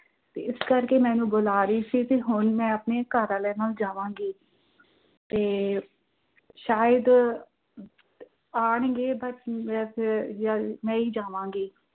ਇਸ ਕਰਕੇ ਮੈਂਨੂੰ ਬੁਲਾ ਰਹੀ ਸੀ ਤੇ ਹੁਣ ਮੈਂ ਆਪਣੇ ਘਰਵਾਲੇ ਨਾਲ ਜਾਵਾਂਗੀ। ਤੇ, ਸ਼ਾਇਦ ਆਣਗੇ ਮੈਂ ਹੀ ਜਾਵਾਂ।